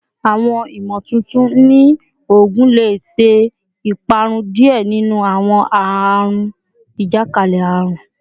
Awọn imotuntun ni oogun le ṣe iparun diẹ ninu awọn aarun ajakalẹ-arun